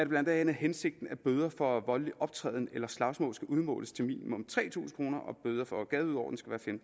blandt andet hensigten at bøder for voldelig optræden eller slagsmål skal udmåles til minimum tre tusind kr og bøder for gadeuorden skal